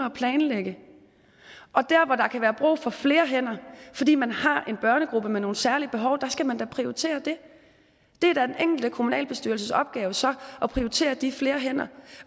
at planlægge og der hvor der kan være brug for flere hænder fordi man har en børnegruppe med nogle særlige behov skal man da prioriterer det det er da den enkelte kommunalbestyrelses opgave så at prioritere de flere hænder